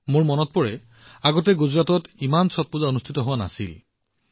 মোৰ মনত আছে যে গুজৰাটত আগতে ছট পূজা এই পৰিমাণে সম্পন্ন কৰা হোৱা নাছিল